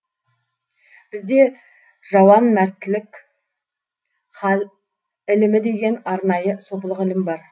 бізде жауанмәртлік хал ілімі деген арнайы сопылық ілім бар